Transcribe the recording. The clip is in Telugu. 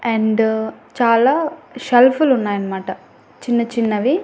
అండ్ చాలా షెల్ఫ్ లు ఉన్నాయి అనమాట చిన్న చిన్నవి.